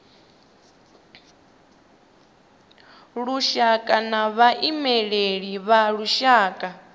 lushaka na vhaimeleli vha lushaka